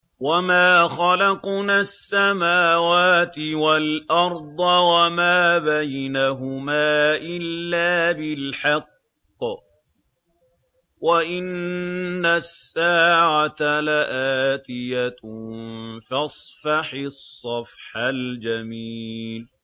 وَمَا خَلَقْنَا السَّمَاوَاتِ وَالْأَرْضَ وَمَا بَيْنَهُمَا إِلَّا بِالْحَقِّ ۗ وَإِنَّ السَّاعَةَ لَآتِيَةٌ ۖ فَاصْفَحِ الصَّفْحَ الْجَمِيلَ